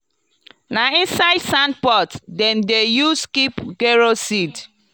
na inside sandpot dem dey use keep gero seed.